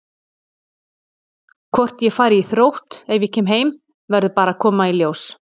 Hvort ég fari í Þrótt ef ég kem heim verður bara að koma í ljós.